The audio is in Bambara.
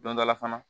Don dɔ la fana